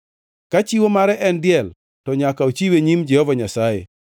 Ka chiwo mare en diel, to nyaka ochiwe e nyim Jehova Nyasaye.